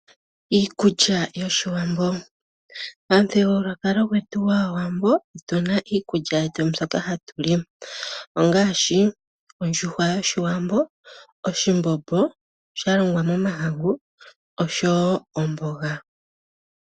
Iikulya yoshiwambo pamuthigululwakalo gwetu gwaawambo otuna iikulya yetu mbyoka hatu li ongaashi ondjuhwa yoshiwambo, oshimbombo shalongwa momahangu osho woo omboga.